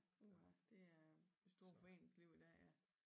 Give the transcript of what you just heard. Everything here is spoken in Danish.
Uha det er det store foreningsliv i dag ja